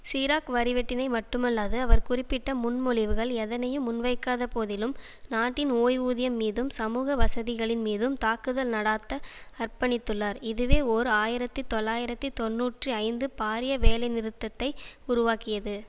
சிராக் வரிவெட்டினை மட்டுமல்லாது அவர் குறிப்பிட்ட முன்மொழிவுகள் எதனையும் முன்வைக்காதபோதிலும் நாட்டின் ஓய்வூதியம் மீதும் சமூக வசதிகளின் மீதும் தாக்குதல் நடாத்த அர்ப்பணித்துள்ளார் இதுவே ஓர் ஆயிரத்தி தொள்ளாயிரத்தி தொன்னூற்றி ஐந்து பாரிய வேலைநிறுத்தத்தை உருவாக்கியது